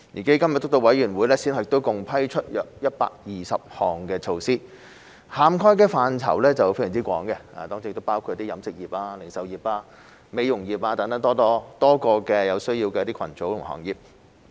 基金督導委員會先後共批出約120項措施，涵蓋範疇非常廣泛，當中包括飲食業、零售業、美容業等多個有需要的群組和行業。